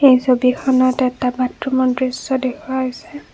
এই ছবিখনত এটা বাথৰুমৰ দৃশ্য দেখুওৱা হৈছে।